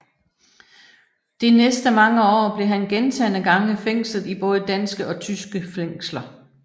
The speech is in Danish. De næste mange år blev han gentagne gange fængslet i både danske og tyske fængsler